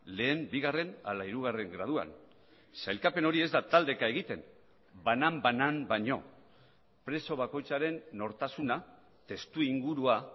lehen bigarren ala hirugarren graduan sailkapen hori ez da taldeka egiten banan banan baino preso bakoitzaren nortasuna testu ingurua